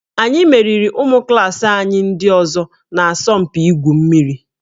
Anyị meriri ụmụ klaasị anyị ndị ọzọ n'asọmpi igwu mmiri